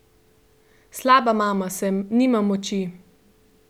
Slaba mama sem, nimam moči!